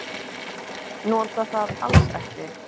Nota það alls ekki.